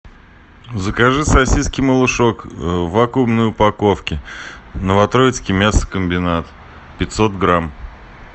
закажи сосиски малышок в вакуумной упаковке новотроицкий мясокомбинат пятьсот грамм